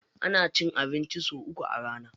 Ana cin abinci sau uku a rana.